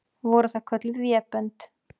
Voru það kölluð vébönd.